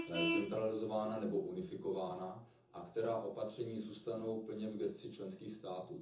centralizována nebo unifikována a která opatření zůstanou plně v gesci členských států.